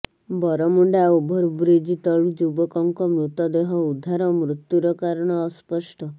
Baramunda overbridge ତଳୁ ଯୁବକଙ୍କ ମୃତଦେହ ଉଦ୍ଧାର ମୃତ୍ୟୁର କାରଣ ଅସ୍ପଷ୍ଟ